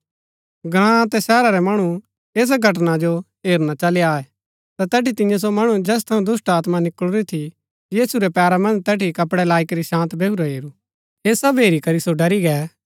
ग्राँ अतै शहरा रै मणु ऐसा घटना जो हेरना चली आये ता तैठी तियें सो मणु जैस थऊँ दुष्‍टात्मा निकळुरी थी यीशु रै पैरा मन्ज तैठी कपडै लाई करी शान्त बैहुरा हेरू ऐह सब हेरी करी सो डरी गै